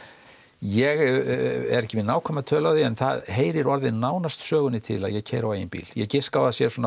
ég er ekki með nákvæma tölu á því en það heyrir orðið nánast sögunni til að ég keyri á eigin bíl ég giska á að það sé svona